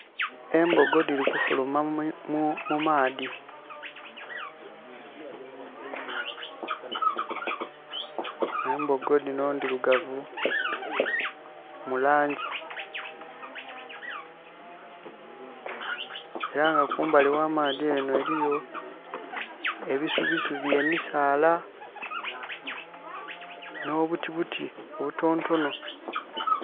Embogo dhili kufuluma mumaadhi. Embogo dhino ndhirugavu mu laangi. Era nga kumbali gha maadhi enho eliyo, ebisubisubi, emisaala, nh'obutibuti obutonotono.